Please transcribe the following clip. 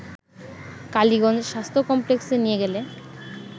কালীগঞ্জ স্বাস্থ্য কমপ্লেক্সে নিয়ে গেলে